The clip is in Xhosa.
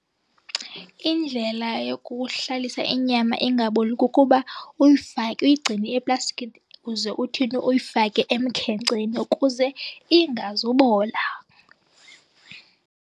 Indlela yokuhlalisa inyama ingaboli kukuba uyifake uyigcine eplastikini ukuze uthini uyifake emkhenkceni ukuze ingazubola.